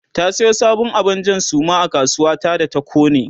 ta Sayo sabon abun Jan Suma a kasuwa ta da ta kone